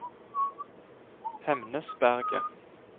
Hemnesberget